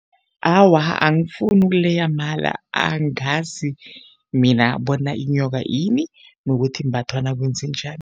Awa, angifuni ukuleya amala. Angazi mina bona inyoka yini nokuthi imbathwa nakwenzenjani.